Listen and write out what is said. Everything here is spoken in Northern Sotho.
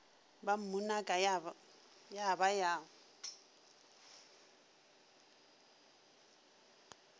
ba mmunaka ya ba ya